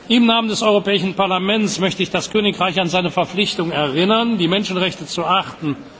Im Namen des Europäischen Parlaments möchte ich das Königreich an seine Verpflichtung erinnern, die Menschenrechte zu achten.